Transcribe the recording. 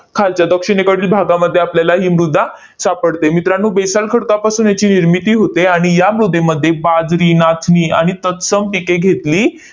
खालच्या दक्षिणेकडील भागामध्ये आपल्याला ही मृदा सापडते. मित्रांनो, basalt खडकापाससून याची निर्मिती होते आणि या मृदेमध्ये बाजरी, नाचणी आणि तत्सम पिके घेतली